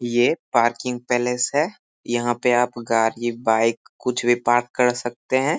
ये parking palace है। यहाँ पर आप गारी बाइक कुछ भी पार्क कर सकते हैं।